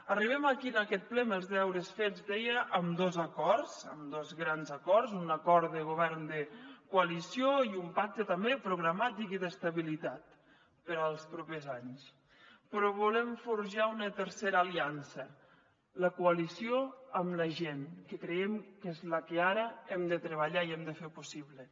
arribem aquí en aquest ple amb els deures fets deia amb dos acords amb dos grans acords un acord de govern de coalició i un pacte també programàtic i d’estabilitat per als propers anys però volem forjar una tercera aliança la coalició amb la gent que creiem que és la que ara hem de treballar i hem de fer possible